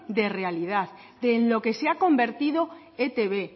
de realidad de en lo que se ha convertido etb